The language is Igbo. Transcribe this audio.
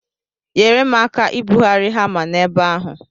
Nyere m aka ibugharị hama n'ebe ahụ.